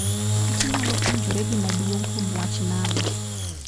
kich nyalo puonjore gima duong' kuom wach nano.